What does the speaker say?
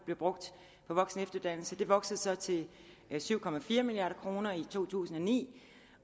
blev brugt på voksenefteruddannelse det voksede så til syv milliard kroner i to tusind og ni